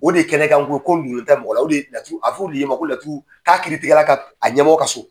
O de ye kɛnɛkan ko ko min dgolen tɛ mɔgɔ a bƐ fƆ de laturuden k'a kiiritigɛla ka a ɲɛmɔgɔ ka so.